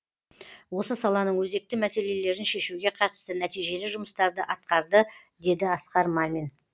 осы саланың өзекті мәселелерін шешуге қатысты нәтижелі жұмыстарды атқарды деді асқар мамин